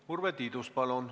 Urve Tiidus, palun!